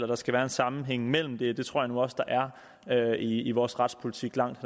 der skal være en sammenhæng mellem det det tror jeg nu også der er i vores retspolitik langt